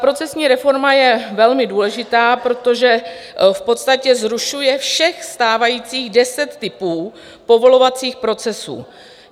Procesní reforma je velmi důležitá, protože v podstatě zrušuje všech stávajících deset typů povolovacích procesů.